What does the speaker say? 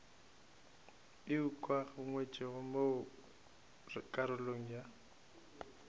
e ukangwego mo karolong ya